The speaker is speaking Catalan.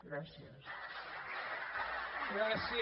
gràcies